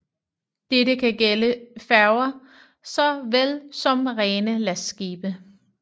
Dette kan gælde færger så vel som rene lastskibe